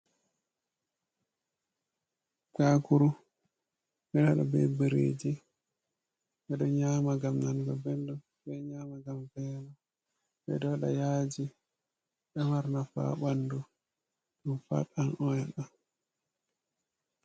Bakuru, ɓeɗo waɗa be bireji, ɓeɗo nyama gam nanga benɗom, ɓeɗo nyama gam velo, ɓe ɗo waɗa yaji, ɗo mari nafu ha ɓandu ɗum fat an oyil On